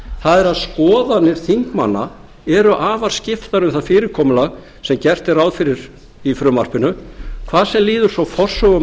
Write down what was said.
það er að skoðanir þingmanna eru afar skiptar um það fyrirkomulag sem gert er ráð fyrir í frumvarpinu hvað sem líður svo forsögu